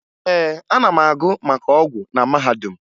Ee, ana m agụ maka ọgwụ na mahadum